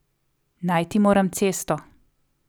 Najti moram cesto.